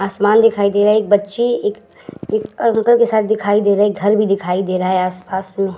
आसमान दिखाई दे रहा है। एक बच्ची एक एक अंकल के साथ दिखाई दे रही। एक घर भी दिखाई दे रहा है आस-पास में।